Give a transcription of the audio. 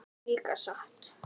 Líka satt?